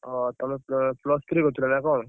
ଓହୋ! ତମେ plus three କରୁଥିଲ ନା କଣ?